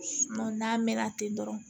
n'a mɛnna ten dɔrɔn